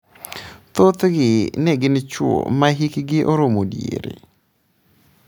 Thothgi ne gin chwo ma hikgi oromo diere.